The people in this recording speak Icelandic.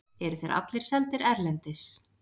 Eru þeir allir seldir erlendis?